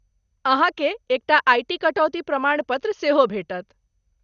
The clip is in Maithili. अहाँकेँ एक टा आईटी कटौती प्रमाण पत्र सेहो भेटत।